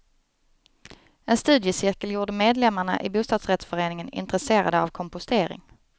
En studiecirkel gjorde medlemmarna i bostadsrättsföreningen intresserade av kompostering.